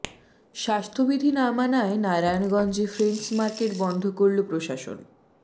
স্বাস্থ্যবিধি না মানায় নারায়ণগঞ্জে ফ্রেন্ডস মার্কেট বন্ধ করলো প্রশাসন